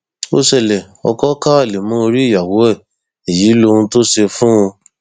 ó ṣẹlẹ ọkọ ka alẹ mọ orí ìyàwó rẹ èyí lohun tó ṣe fún un